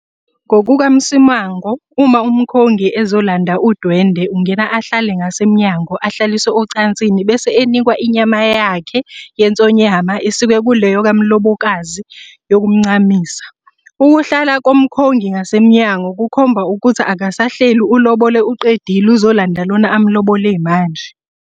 NgokukaMsimango uma umkhongi esezolanda udwendwe ungena ahlale ngasemnyango ahlaliswe ecansini bese enikwa inyama yakhe yensonyama esikwe kuleyo kamlobokazi yokumncamisa. Ukuhlala komkhongi ngasemnyango kukhomba ukuthi akasahleli ulobole uqedile uzolanda lona amlobole manje.